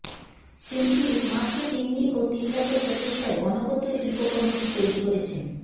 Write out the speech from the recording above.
শিল্পী মাত্র তিনদিন ও তিনরাতের প্রচেষ্টায় অনবদ্য শিল্পকর্মটি তৈরি করেছেন